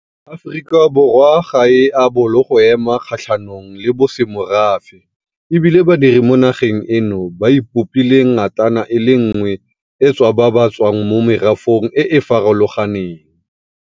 Aforika Borwa ga e a bolo go ema kgatlhanong le bosemorafe e bile badiri mo nageng eno ba ipopile ngatana e le nngwe e tswa ba tswa mo merafeng e e farologaneng.